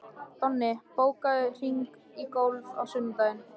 Donni, bókaðu hring í golf á sunnudaginn.